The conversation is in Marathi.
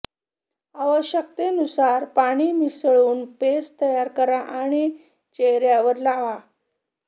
आवश्यकतेनुसार पाणी मिसळून पेस्ट तयार करा आणि चेहर्यावर लावा